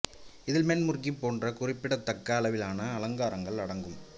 இதில் மென்ட் முர்கி போன்ற குறிப்பிடத்தக்க அளவிலான அலங்காரங்கள் அடங்கும்